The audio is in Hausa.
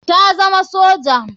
Ta zama soja.